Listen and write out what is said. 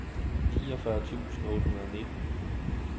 niogfyrre tusind otte hundrede og nitten